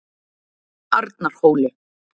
Arnarhóli